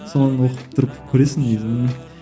содан оқып тұрып күлесің негізі